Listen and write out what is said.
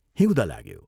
हिउँद लाग्यो।